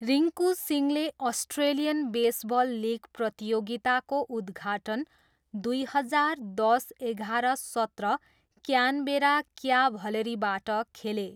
रिङ्कू सिंहले Australian baseball league प्रतियोगिताको उद्घाटन दुई हजार दस एघार सत्र क्यानबेरा क्याभलरीबाट खेले।